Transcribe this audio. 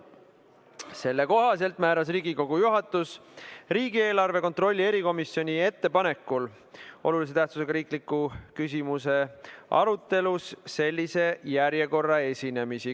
Selle kohaselt määras Riigikogu juhatus riigieelarve kontrolli erikomisjoni ettepanekul olulise tähtsusega riikliku küsimuse arutelul sellise esinemisjärjekorra.